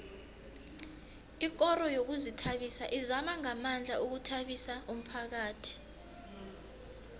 ikoro yezokuzithabisa izama ngamandla ukuthabisa umphakhathi